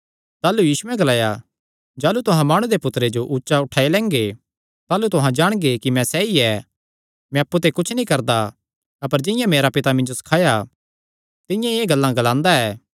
ताह़लू यीशुयैं ग्लाया जाह़लू तुहां माणु दे पुत्तरे जो ऊचा उठाई लैंगे ताह़लू तुहां जाणगे कि मैं सैई ऐ मैं अप्पु ते कुच्छ नीं करदा अपर जिंआं मेरे पितैं मिन्जो सखाया तिंआं ई एह़ गल्लां ग्लांदा ऐ